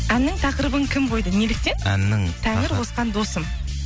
әннің тақырыбын кім қойды неліктен тәңір қосқан досым